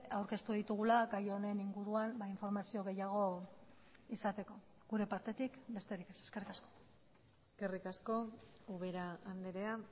aurkeztu ditugula gai honen inguruan informazio gehiago izateko gure partetik besterik ez eskerrik asko eskerrik asko ubera andrea